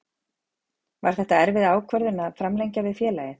Var þetta erfið ákvörðun að framlengja við félagið?